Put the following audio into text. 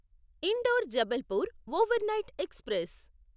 indoor Jabalpur overnight express